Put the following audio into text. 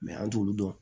an t'olu dɔn